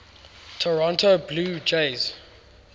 toronto blue jays